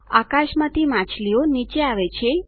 આકાશમાંથી માછલીઓ નીચે આવે છે